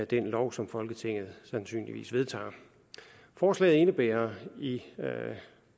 den lov som folketinget sandsynligvis vedtager forslaget indebærer i